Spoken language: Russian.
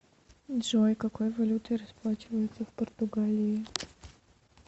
джой какой валютой расплачиваются в португалии